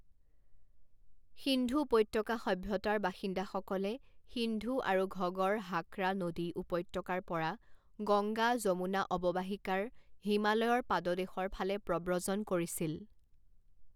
সিন্ধু উপত্যকা সভ্যতাৰ বাসিন্দাসকলে সিন্ধু আৰু ঘগড় হাকৰা নদী উপত্যকাৰ পৰা গংগা যমুনা অৱবাহিকাৰ হিমালয়ৰ পাদদেশৰ ফালে প্ৰব্ৰজন কৰিছিল।